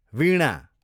वीणा